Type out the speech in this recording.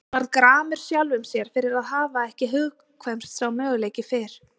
Hann varð gramur sjálfum sér fyrir að hafa ekki hugkvæmst sá möguleiki fyrr.